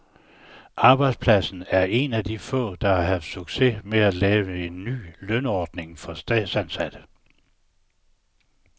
Arbejdspladsen er en af de få, der har haft succes med at lave en ny lønordning for statsansatte.